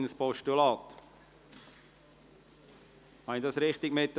Habe ich dies richtig mitgekriegt?